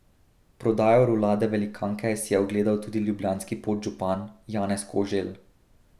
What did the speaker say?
Prodajo rulade velikanke si je ogledal tudi ljubljanski podžupan Janez Koželj.